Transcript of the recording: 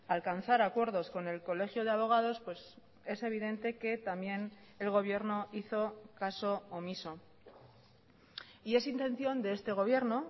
a alcanzar acuerdos con el colegio de abogados pues es evidente que también el gobierno hizo caso omiso y es intención de este gobierno